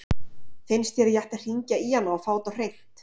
Finnst þér að ég ætti að hringja í hana og fá þetta á hreint?